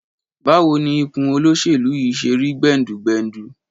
Báwo ni ikùn olóṣèlú yìí ṣe rí gbẹ̀ǹdùgbẹ̀ǹdù?